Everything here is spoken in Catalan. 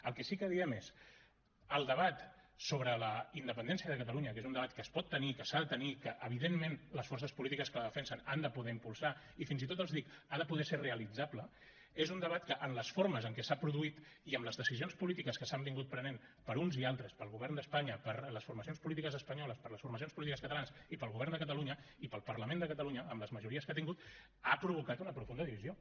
el que sí que diem és el debat sobre la independència de catalunya que és un debat que es pot tenir i que s’ha de tenir que evidentment les forces polítiques que la defensen han de poder impulsar i fins i tot els dic ha de poder ser realitzable és un debat que en les formes en què s’ha produït i amb les decisions polítiques que s’han pres per uns i altres pel govern d’espanya per les formacions polítiques espanyoles per les formacions polítiques catalanes i pel govern de catalunya i pel parlament de catalunya amb les majories que ha tingut ha provocat una profunda divisió